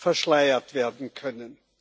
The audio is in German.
verschleiert werden können.